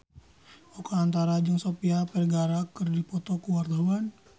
Oka Antara jeung Sofia Vergara keur dipoto ku wartawan